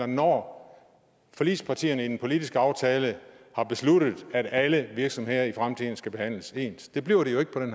når forligspartierne i den politiske aftale har besluttet at alle virksomheder i fremtiden skal behandles ens det bliver de